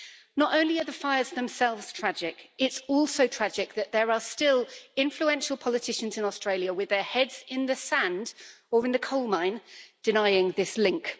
Not only are the fires themselves tragic, it's also tragic that there are still influential politicians in Australia with their heads in the sand or in the coal mine denying this link.